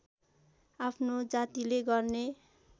आफ्नो जातिले गर्ने